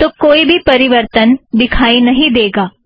तो कोई भी परिवर्तन दिखाई नहीं देगा